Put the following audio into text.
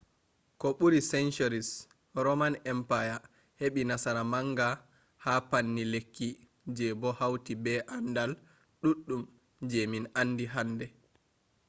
ko ɓuri centuries roman empire heɓi nasara manga ha panni lekki je bo hauti be andal ɗuɗɗum je min andi hande